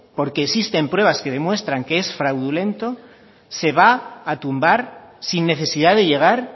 porque existen pruebas que demuestran que es fraudulento se va a tumbar sin necesidad de llegar